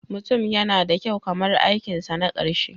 Mutum yana da kyau kamar aikinsa na ƙarshe.